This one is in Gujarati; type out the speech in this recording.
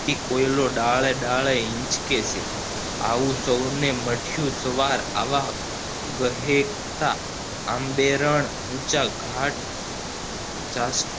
કોયલો ડાળે ડાળે હીંચકે છે આવું સૌને મળ્યું સવાર આવા વહેકતાં આંબેરન ઉંચા ઘાટ ચાસ્તિ